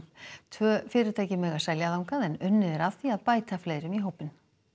tvö fyrirtæki mega selja þangað en unnið er að því að bæta fleirum í hópinn